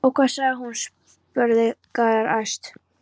Og hvað sagði hann? spurði Gerður æst.